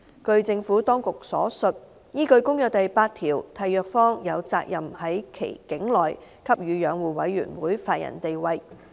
據政府當局所述，依據《公約》第八條，締約方有責任在其境內給予養護委員會法人地位。